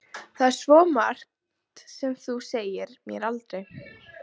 Það er svo margt sem þú sagðir mér aldrei.